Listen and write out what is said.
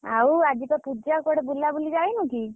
ଆଉ ଆଜି ପା ପୂଜା କୁଆଡେ ବୁଲାବୁଲି ଯାଇନୁ କି?